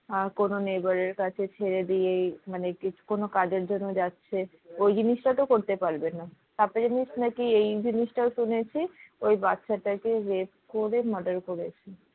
কোনো neighbor এর কাছে ছেড়ে দিয়েই মানে কোনো কাজের জন্য যাচ্ছে ওই জিনিসটা তো করতে পারবে না আর একটা জিনিস নাকি এই জিনিসটাও শুনেছি ওই বাচ্চাটাকে rape করে murder করেছে।